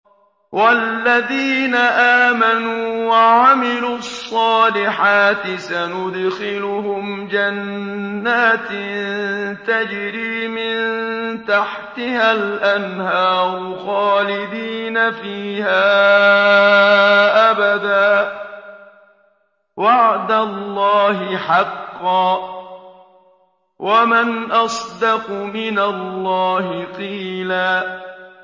وَالَّذِينَ آمَنُوا وَعَمِلُوا الصَّالِحَاتِ سَنُدْخِلُهُمْ جَنَّاتٍ تَجْرِي مِن تَحْتِهَا الْأَنْهَارُ خَالِدِينَ فِيهَا أَبَدًا ۖ وَعْدَ اللَّهِ حَقًّا ۚ وَمَنْ أَصْدَقُ مِنَ اللَّهِ قِيلًا